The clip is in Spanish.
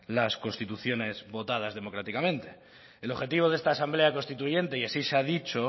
las constituciones votadas democráticamente el objetivo de esta asamblea constituyente y así se ha dicho